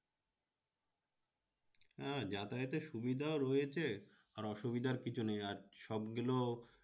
হ্যাঁ যাতায়াতের সুবিধাও রয়েছে আর অসুবিধার কিছু নেই। আর সবগুলো